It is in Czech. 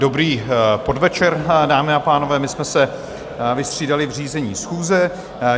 Dobrý podvečer, dámy a pánové, my jsme se vystřídali v řízení schůze.